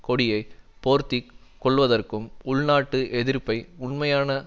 கொடியை போர்த்தி கொள்வதற்கும் உள்நாட்டு எதிர்ப்பை உண்மையான